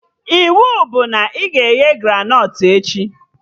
Iwu bụ na ị ga-eghe granọt echi!